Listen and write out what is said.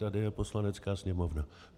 Tady je Poslanecká sněmovna.